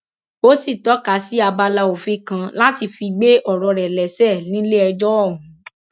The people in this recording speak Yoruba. ó sì tọka sí abala òfin kan láti fi gbé ọrọ rẹ lẹsẹ nílẹẹjọ ọhún